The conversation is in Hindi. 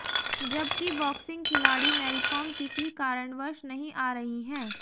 जबकि बॉक्सिंग खिलाड़ी मैरीकॉम किसी कारणवश नहीं आ रही हैं